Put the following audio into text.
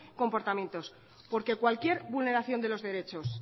comportamientos porque cualquier vulneración de los derechos